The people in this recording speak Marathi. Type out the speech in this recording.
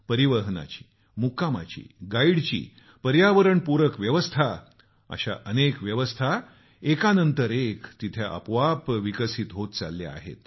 परिवहनाची मुक्कामाची गाईडची पर्यावरण पूरक व्यवस्था अशा अनेक व्यवस्था एकानंतर एक आपोआप विकसित होत चालल्या आहेत